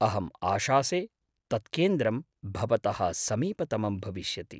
अहम् आशासे तत् केन्द्रं भवतः समीपतमं भविष्यति।